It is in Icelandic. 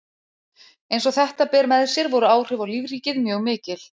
Eins og þetta ber með sér voru áhrif á lífríkið mjög mikil.